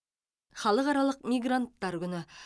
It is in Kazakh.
халықаралық мигранттар күні